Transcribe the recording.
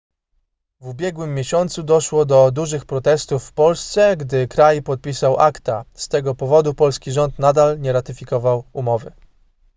w ubiegłym miesiącu doszło do dużych protestów w polsce gdy kraj podpisał acta z tego powodu polski rząd nadal nie ratyfikował umowy